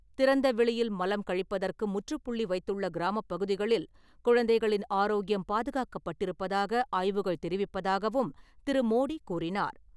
திறந்த வெளியில் மலம் கழிப்பதற்கு முற்றுப்புள்ளி வைத்துள்ள கிராமப்பகுதிகளில் குழந்தைகளின் ஆரோக்கியம் பாதுகாக்கப்பட்டிருப்பதாக ஆய்வுகள் தெரிவிப்பதாகவும் திரு. மோடி கூறினார்.